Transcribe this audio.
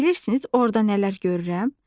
Bilirsiniz orda nələr görürəm?